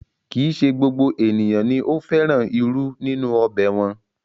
Kì í se gbogbo ènìyàn ni ó fẹ́ràn irú nínú ọbẹ̀ wọn